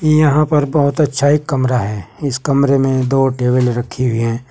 यहां पर बहोत अच्छा एक कमरा है। इस कमरे में दो टेबल रखी हुई हैं।